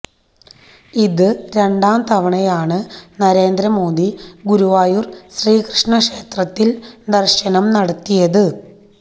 ഇത് രണ്ടാംതവണയാണ് നരേന്ദ്രമോദി ഗുരുവായൂര് ശ്രീകൃഷ്ണ ക്ഷേത്രത്തില് ദര്ശനം നടത്തിയത്